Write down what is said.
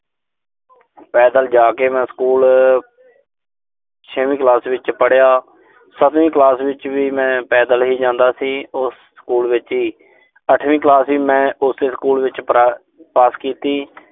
ਪੈਦਲ ਜਾ ਕੇ ਮੈਂ ਸਕੂਲ ਛੇਵੀਂ ਕਲਾਸ ਵਿੱਚ ਪੜਿਆ। ਸੱਤਵੀਂ ਕਲਾਸ ਵਿੱਚ ਵੀ ਮੈਂ ਪੈਦਲ ਹੀ ਜਾਂਦਾ ਸੀ। ਉਸ ਸਕੂਲ ਵਿੱਚ ਹੀ। ਅੱਠਵੀਂ ਕਲਾਸ ਵੀ ਮੈਂ ਉਸੇ ਸਕੂਲ ਵਿੱਚ ਪਾਸ ਕੀਤੀ।